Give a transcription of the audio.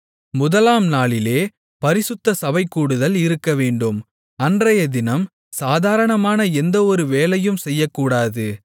முதலாம் நாளிலே பரிசுத்த சபைகூடுதல் இருக்கவேண்டும் அன்றையதினம் சாதாரணமான எந்த ஒரு வேலையும் செய்யக்கூடாது